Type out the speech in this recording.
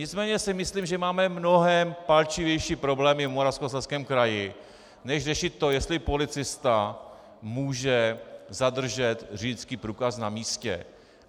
Nicméně si myslím, že máme mnohé palčivější problémy v Moravskoslezském kraji než řešit to, jestli policista může zadržet řidičský průkaz na místě.